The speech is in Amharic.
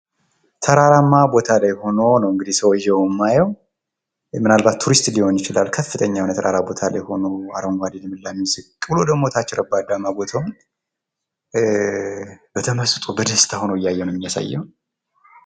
ተራራማ ቦታ ላይ ሆኖ ነው እንግዲህ ሰውዬውን የማየው ምናልባት ቱሪስት ሊሆን ይችላል። ከፍተኛ የሆነ ተራራማ ቦታ ላይ ሆኖ አረንጓዴ ልምላሜውን ዝቅ ብሎ ደግሞ ታች ረባዳማ ቦታውን በተመስጦ በደስታ ሆኖ እያየው ነው የሚያሳየው።